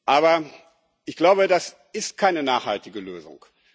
Aber ich glaube, das ist keine nachhaltige Lösung.